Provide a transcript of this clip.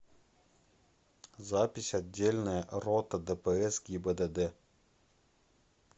запись отдельная рота дпс гибдд